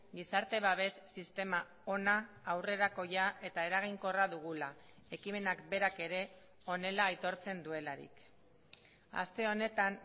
gizarte babes sistema ona aurrerakoia eta eraginkorra dugula ekimenak berak ere honela aitortzen duelarik aste honetan